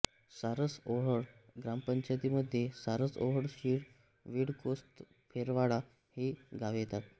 सारसओहळ ग्रामपंचायतीमध्ये सारसओहळ शीळ विळकोसतर्फेवाडा ही गावे येतात